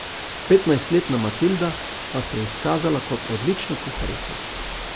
Petnajstletna Matilda pa se je izkazala kot odlična kuharica.